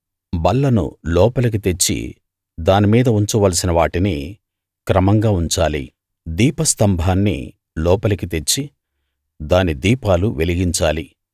బల్లను లోపలికి తెచ్చి దాని మీద ఉంచవలసిన వాటిని క్రమంగా ఉంచాలి దీప స్తంభాన్ని లోపలికి తెచ్చి దాని దీపాలు వెలిగించాలి